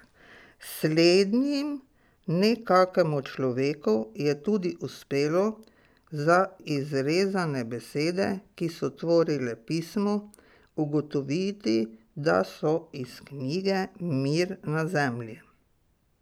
Slednjim, ne kakemu človeku, je tudi uspelo za izrezane besede, ki so tvorile pismo, ugotoviti, da so iz knjige Mir na zemlji.